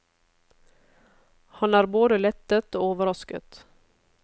Han er både lettet og overrasket.